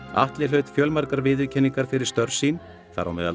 Atli hlaut fjölmargar viðurkenningar fyrir störf sín þar á meðal